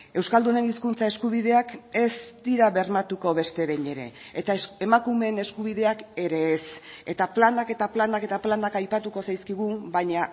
euskaldunen hizkuntza eskubideak ez dira bermatuko beste behin ere eta emakumeen eskubideak ere ez eta planak eta planak eta planak aipatuko zaizkigu baina